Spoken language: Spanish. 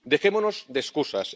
Dejémonos de excusas.